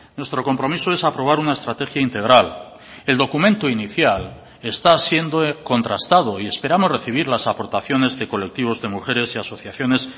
nuestro compromiso es aprobar una estrategia integral el documento inicial está siendo contrastado y esperamos recibir las aportaciones de colectivos de mujeres y asociaciones